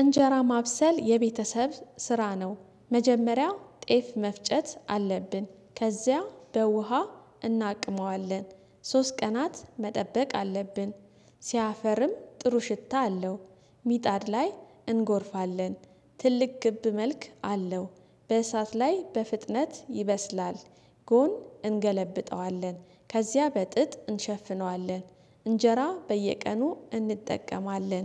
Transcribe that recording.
እንጀራ ማብሰል የቤተሰብ ስራ ነው መጀመሪያው ጤፍ መፍጨት አለብን ከዚያ በውሃ እናቅመዋለን ሶስት ቀናት መጠበቅ አለብን ሲያፈርም ጥሩ ሽታ አለው። ሚጣድ ላይ እንጎርፋለን ትልቅ ግብ መልክ አለው በእሳት ላይ በፍጥነት ይበስላል። ጎን እንገለብጠዋለን ከዚያ በጥጥ እንሸፍነዋለን እንጀራ በየቀኑ እንጠቀማለን